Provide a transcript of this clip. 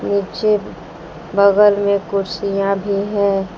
पीछे बगल में कुर्सियां भी है।